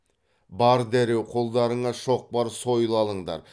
бар дереу қолдарыңа шоқпар сойыл алыңдар